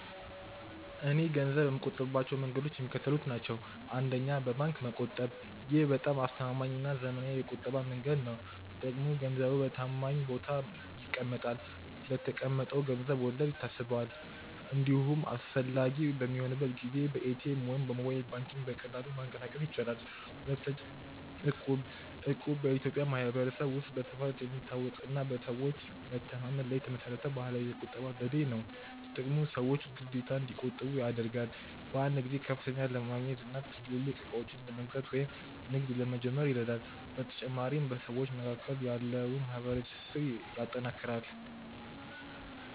.እኔ ገንዘብ የምቆጥብባቸው መንገዶች የሚከተሉት ናቸው፦ 1. በባንክ መቆጠብ: ይህ በጣም አስተማማኝና ዘመናዊው የቁጠባ መንገድ ነው። ጥቅሙ፦ ገንዘቡ በታማኝ ቦታ ይቀመጣል፤ ለተቀመጠው ገንዘብ ወለድ ይታሰባል፤ እንዲሁም አስፈላጊ በሚሆንበት ጊዜ በኤቲኤም ወይም በሞባይል ባንኪንግ በቀላሉ ማንቀሳቀስ ይቻላል። 2. እቁብ: እቁብ በኢትዮጵያ ማኅበረሰብ ውስጥ በስፋት የሚታወቅና በሰዎች መተማመን ላይ የተመሠረተ ባህላዊ የቁጠባ ዘዴ ነው። ጥቅሙ፦ ሰዎችን በግዴታ እንዲቆጥቡ ያደርጋል። በአንድ ጊዜ ከፍተኛ ገንዘብ ለማግኘትና ትልልቅ ዕቃዎችን ለመግዛት ወይም ንግድ ለመጀመር ይረዳል። በተጨማሪም በሰዎች መካከል ያለውን ማኅበራዊ ትስስር ያጠናክራል።